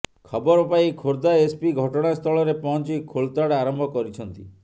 ଖବର ପାଇ ଖୋର୍ଦ୍ଧା ଏସ୍ପି ଘଟଣାସ୍ଥଳରେ ପହଞ୍ଚି ଖୋଳତାଡ଼ ଆରମ୍ଭ କରିଛନ୍ତି